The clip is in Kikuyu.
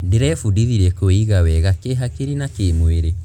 Ndĩrebundithirie kwĩiga wega kĩhakiri na kĩmwĩrĩ.